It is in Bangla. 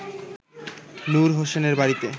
নূর হোসেনের বাড়িতে